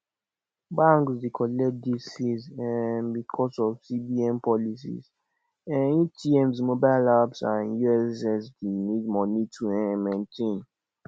banks de collect these fees um because of cbn policy um atms mobile app and ussd need money to um maintain